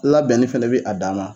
Labɛnni fɛnɛ bɛ a dama